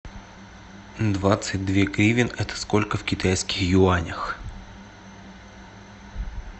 двадцать две гривен это сколько в китайских юанях